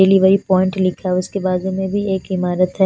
पिली वाली पॉइंट लेके आओ उसके बाजु में भी एक ईमारत है।